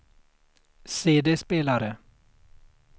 CD-spelare